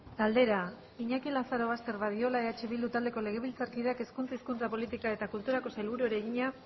galdera iñaki lazarobaster badiola eh bildu taldeko legebiltzarkideak hezkuntza hizkuntza politika eta kulturako sailburuari egina